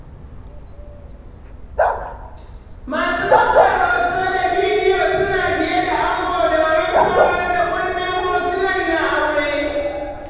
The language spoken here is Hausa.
Masu ɗaukar hoto da bidiyo suna biye da ango domin samar da kundin hotunan na aure.